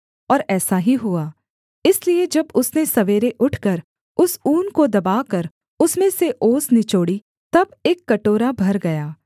और ऐसा ही हुआ इसलिए जब उसने सवेरे उठकर उस ऊन को दबाकर उसमें से ओस निचोड़ी तब एक कटोरा भर गया